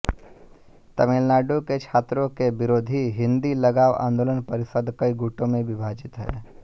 तमिलनाडु के छात्रों के विरोधी हिंदी लगाव आंदोलन परिषद कई गुटों में विभाजित है